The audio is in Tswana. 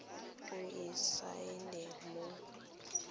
o e saene o bo